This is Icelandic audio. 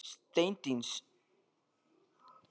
Steindís, hvað er opið lengi á fimmtudaginn?